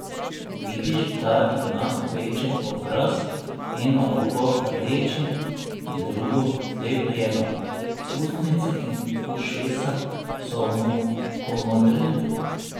Vidiš, da ima opečen obraz, eno oko rdeče in drugo zlepljeno, ustnice in ušesa so mu pomodreli.